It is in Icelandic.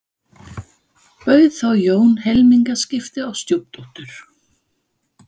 Bauð þá Jón helmingaskipti á stjúpdóttur